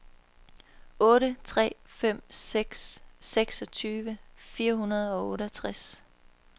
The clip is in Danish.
otte tre fem seks seksogtyve fire hundrede og otteogtres